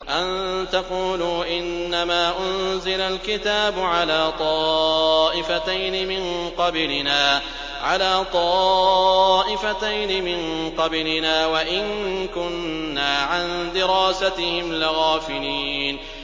أَن تَقُولُوا إِنَّمَا أُنزِلَ الْكِتَابُ عَلَىٰ طَائِفَتَيْنِ مِن قَبْلِنَا وَإِن كُنَّا عَن دِرَاسَتِهِمْ لَغَافِلِينَ